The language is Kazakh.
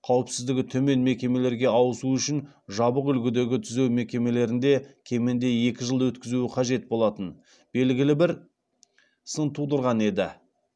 қауіпсіздігі төмен мекемелерге ауысу үшін жабық үлгідегі түзеу мекемелерінде кемінде екі жыл өткізуі қажет болатын белгілі бір сын тудырған еді